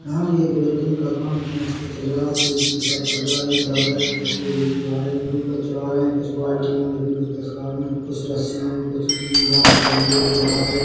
यहाँ भी एक बिल्डिंग का काम खेंच के चल रहा है तेजी के साथ चल रहा है एक दादाजी तसले लेकर आ रहे है ऊपर चढ़ा रहे है कुछ बाल्टियां भी रखी है कुछ तस्कारे कुछ रस्सीयाँ भी कुछ अम्म बाँस के डंडे भी दिखा रहे है।